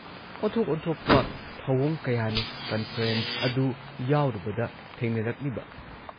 ꯑꯣꯟꯊꯣꯛ ꯑꯣꯟꯊꯣꯛꯄ ꯊꯧꯑꯣꯡ ꯀꯌꯥꯅꯤ ꯀꯟꯐꯔꯦꯟꯁ ꯑꯗꯨ ꯌꯥꯎꯔꯨꯕꯗ ꯊꯦꯡꯅꯔꯛꯂꯤꯕ ꯫